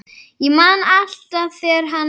Ég man alltaf þegar hann